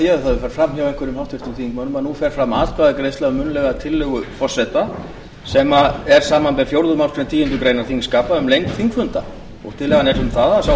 því ef það hefur farið fram hjá einhverjum háttvirtum þingmönnum að nú fer fram atkvæðagreiðsla um munnlega tillögu forseta sem er samanber fjórðu málsgreinar tíundu greinar þingskapa um lengd þingfunda tillagan er um það að sá